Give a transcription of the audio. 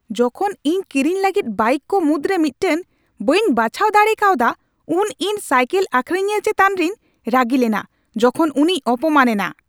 ᱡᱚᱠᱷᱚᱱ ᱤᱧ ᱠᱤᱨᱤᱧ ᱞᱟᱹᱜᱤᱫ ᱵᱟᱭᱤᱠ ᱠᱚ ᱢᱩᱫᱽᱨᱮ ᱢᱤᱫᱴᱟᱝ ᱵᱟᱹᱧ ᱵᱟᱪᱷᱟᱣ ᱫᱟᱲᱮ ᱠᱟᱣᱫᱟ ᱩᱱ ᱤᱧ ᱥᱟᱭᱠᱮᱞ ᱟᱠᱷᱨᱤᱧᱤᱭᱟᱹ ᱪᱮᱛᱟᱱ ᱨᱤᱧ ᱨᱟᱹᱜᱤ ᱞᱮᱱᱟ ᱡᱚᱠᱷᱚᱱ ᱩᱱᱤᱭ ᱚᱯᱚᱢᱟᱱ ᱮᱱᱟ ᱾